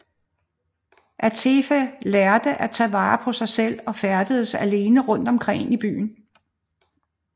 Atefeh lærte at tage vare på sig selv og færdedes alene rundt omkring i byen